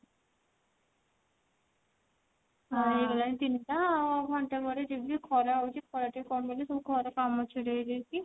ଆ ହେଇଗଲାଣି ତିନିଟା ଆଉ ଘଣ୍ଟେ ପରେ ଯିବି ଖରା ହଉଛି ଖରା ଟିକେ କମିଲେ ସବୁ ଘର କାମ ଛିଡେଇଦେଇକି